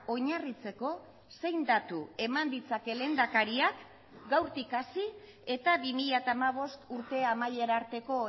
oinarritzeko zein datu eman ditzake lehendakariak gaurtik hasi eta bi mila hamabost urte amaiera arteko